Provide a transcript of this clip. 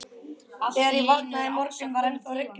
Þegar ég vaknaði í morgun, var ennþá rigning.